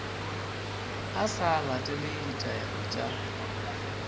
a sa latele ditaelo tša